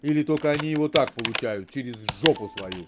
или только они его так получают через жопу свою